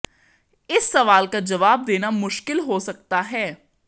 इस सवाल का जवाब देना मुश्किल हो सकता है